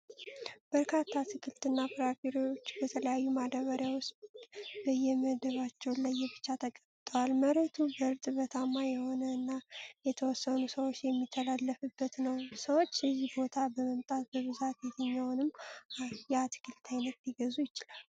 በርካታ አትክልት እና ፍራፍሬዎች በተለያዩ ማዳበሪያ ዉስጥ በየመደባቸው ለየብቻ ተቀምጠዋል። መሬቱ እርጥበታማ የሆነ እና የተወሰኑ ሰዎች የሚተላለፉበት ነው። ሰዎች እዚህ ቦታ በመምጣት በብዛት የትኛውን የአትክልት አይነት ሊገዙ ይችላሉ?